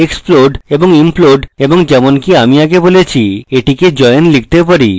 explode এবং implode এবং যেমনকি আমি আগে বলেছি এটিকে join লিখতে পারি